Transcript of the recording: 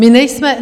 My nejsme...